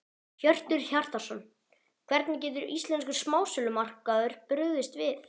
Hjörtur Hjartarson: Hvernig getur íslenskur smásölumarkaður brugðist við?